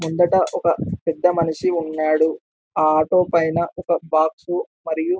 ముంగట ఒక పెద్ద మనిషి ఉన్నాడు ఆ ఆటో పైన ఒక బాక్స్ మరియు --